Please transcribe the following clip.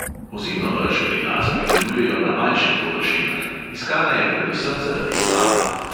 Ozimno rž pri nas pridelujejo na manjših površinah, iskana je predvsem zaradi slame.